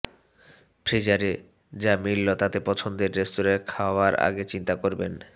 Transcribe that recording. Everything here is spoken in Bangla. ফ্রিজারে যা মিলল তাতে পছন্দের রেস্তোরাঁয় খাওয়ার আগে চিন্তুা করবেন